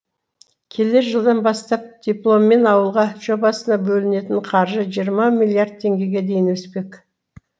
келер жылдан бастап дипломмен ауылға жобасына бөлінетін қаржы жиырма миллиард теңгеге дейін өспек